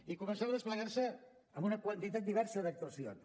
i començarà a desplegar se amb una quantitat diversa d’actuacions